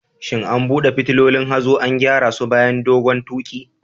Shin an duba fitulun hazo an gyara su bayan dogon tuƙi?